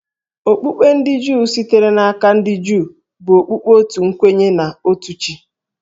Okpukpe ndị Juu, sitere n’aka ndị Juu, bụ okpukpe otu kwenye na otu chi